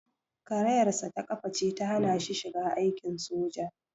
Karayarsa ta ƙafa ce ta hana shi shiga aikin soja.